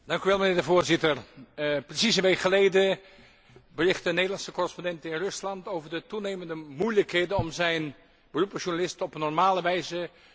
Precies een week geleden berichtte een Nederlandse correspondent in Rusland over de toenemende moeilijkheden om zijn beroep als journalist op een normale wijze te kunnen uitoefenen.